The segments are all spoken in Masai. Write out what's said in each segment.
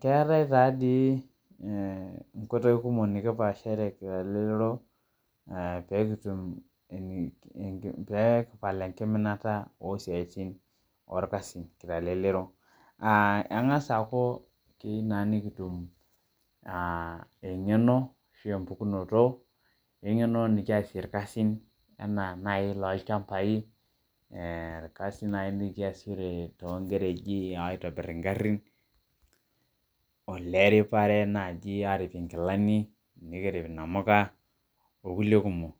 Keatae taa dei nkoitie kumok nikipaashare telelero peekitum, peekipal enkiminata oo siatin olkasin le lelero, aaa engas aaku keyeu naaa nikitum engeno ashu empukunoto, engeno nikiasie ilkasin enaa nai to ilchambai, ilkasin nai nikiasishore too inkereji aitobirr ing'arrin, oleripare naaji aarip inkilani, nikirip namuka okule kumok.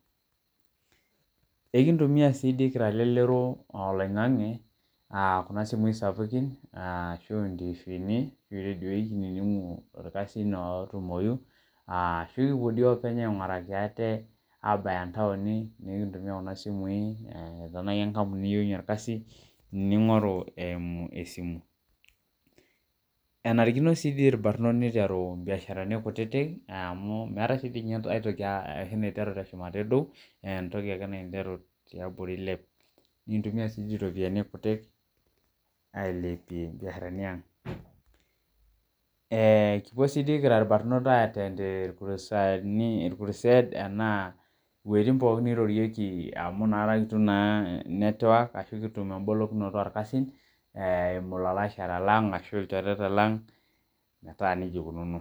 Ekintumiya sii dei kirsa lelero oloing'ang'e aa kuna simui sapukin, aashu aa ntiviini o redioi kinining'u ilkasin ootumoyu, nikipo dei oopenye aing'uraki ate aabaya ntaoini, nikintumiya kuna simui, tanaa ake enkampuni niyeunye ilkasi, ning'oru esimu. Enarikino sii irbarnot neitaru imbiasharani kutitik, naa amu meatae sii ninye aitoki eneiteru te shumata edou, naa entoki ake naiteru te abori eiliep, nintumia sii iropiyiani kutitik ailepie mbiasharani aang'. Eee, sii kipuo sii kira ilbarnot aiteend lkurusani, ikuruseed anaa wejitin pookin neirorieki amu inakai itum naa network ashu kitumie embolokinoto oljkasin eimu ilalashara lang ashu ilchoreta lang, metaa neja eikununo.